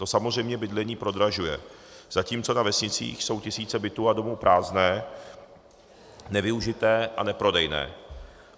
To samozřejmě bydlení prodražuje, zatímco na vesnicích jsou tisíce bytů a domů prázdné, nevyužité a neprodejné.